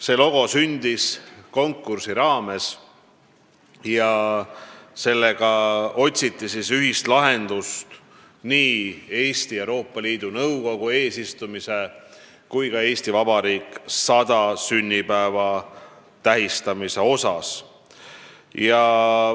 See logo sündis konkursi raames ja sellega otsiti ühist lahendust nii Eesti Euroopa Liidu Nõukogu eesistumise kui ka "Eesti Vabariik 100" märkimiseks.